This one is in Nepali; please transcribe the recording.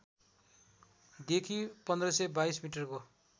देखि १५२२ मिटरको